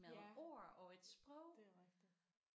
Ja det er rigtigt